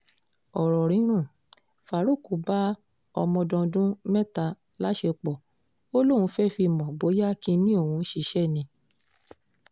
ọ̀rọ̀ rírùn faruq bá ọmọdọ́ndún mẹ́ta láṣepọ̀ ó lóun fẹ́ẹ́ fi mọ̀ bóyá kinní òun ṣiṣẹ́ ni